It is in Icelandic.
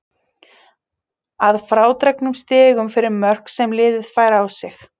Að frádregnum stigum fyrir mörk sem liðið fær á sig.